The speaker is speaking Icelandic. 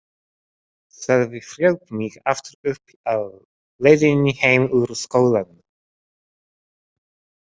Sölvi hljóp mig aftur uppi á leiðinni heim úr skólanum.